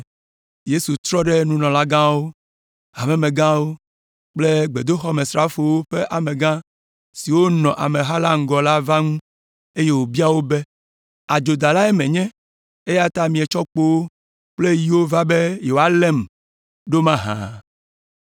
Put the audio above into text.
Yesu trɔ ɖe nunɔlagãwo, hamemegãwo kple gbedoxɔmesrafowo ƒe amegã siwo nɔ ameha la ŋgɔ va la ŋu, eye wòbia wo be, “Adzodalae menye, eya ta mietsɔ kpowo kple yiwo va be yewoalém ɖo mahã?